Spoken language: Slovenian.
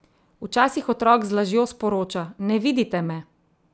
Včasih otrok z lažjo sporoča: "Ne vidite me!